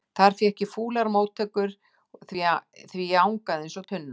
Þar fékk ég fúlar móttökur því ég angaði eins og tunna.